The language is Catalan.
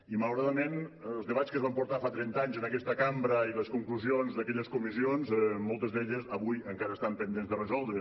i malauradament els debats que es van portar fa trenta anys en aquesta cambra i les conclusions d’aquelles comissions moltes d’elles avui encara estan pendents de resoldre